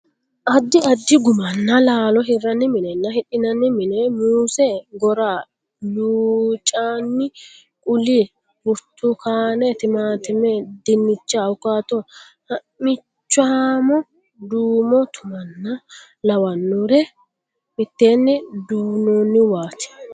Addi addi gummanna laalo hirranni minenna hidhinanni mine:muuse, gora, luncanni quli, burtukaane, timaatime, dinnicha, awukaato, ha'michaamo duumo tumanna lawannore mitteenni duunnoonniwaati.